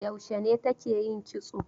Yaushe ne take yin kitso?